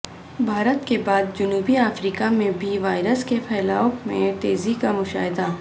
بھارت کے بعد جنوبی افریقہ میں بھی وائرس کے پھیلاو میں تیزی کا مشاہدہ